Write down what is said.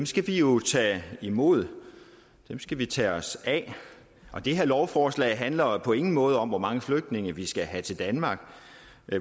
skal vi jo tage imod dem skal vi tage os af det her lovforslag handler på ingen måde om hvor mange flygtninge vi skal have til danmark